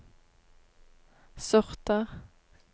sorter